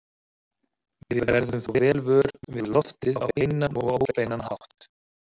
Við verðum þó vel vör við loftið á beinan og óbeinan hátt.